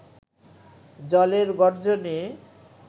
জলের গর্জনে